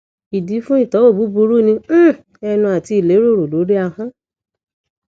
idi fun itowo buburu ni um enu ati ileroro lori ahon